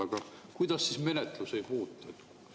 Aga kuidas siis menetlus ei puutu?